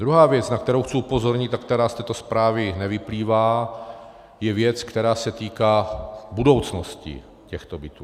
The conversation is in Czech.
Druhá věc, na kterou chci upozornit a která z této zprávy nevyplývá, je věc, která se týká budoucnosti těchto bytů.